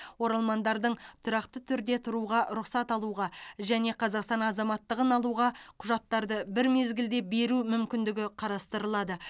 оралмандардың тұрақты түрде тұруға рұқсат алуға және қазақстан азаматтығын алуға құжаттарды бір мезгілде беру мүмкіндігі қарастырылады